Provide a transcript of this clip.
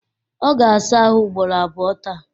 Ọ ga-asa ahụ ugboro abụo taa.